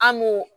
An m'o